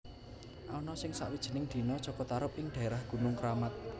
Ana ing sakwijining dina Jaka Tarub ing daérah Gunung Keramat